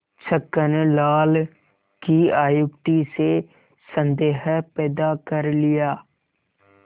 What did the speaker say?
छक्कन लाल की अत्युक्ति से संदेह पैदा कर लिया